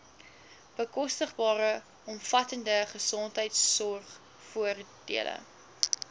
bekostigbare omvattende gesondheidsorgvoordele